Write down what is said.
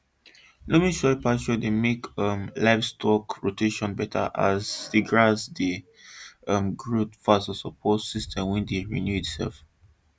loamy pasture dey make um livestock rotation better as the grass dey um grow fast to support system wey dey renew itself